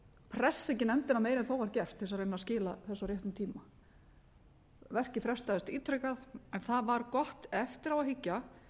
pressa ekki nefndin meira en þó var gert til þess að reyna að skila þessu á réttum tíma verkið frestaðist ítrekað en það var gott eftir á að hyggja